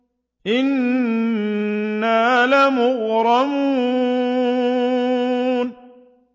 إِنَّا لَمُغْرَمُونَ